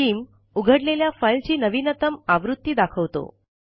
scheme उघडलेल्या फाइलची नवीनतम आवृत्ती दाखवतो